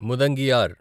ముదంగియార్